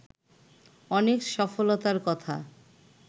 অনেক সফলতার কথা